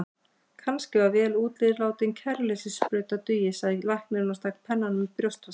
Kannski að vel útilátin kæruleysissprauta dugi, sagði læknirinn og stakk pennanum í brjóstvasann.